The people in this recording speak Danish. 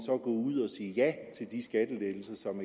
ud og sige ja til de skattelettelser